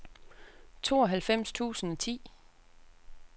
tooghalvfems tusind og ti